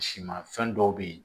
Si ma fɛn dɔw be yen